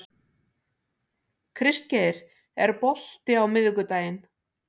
Kristgeir, er bolti á miðvikudaginn?